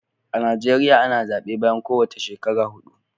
A Najeriya ana zaɓe bayan ko wace shekara huɗu.